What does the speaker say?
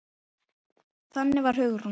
Þannig var Hugrún.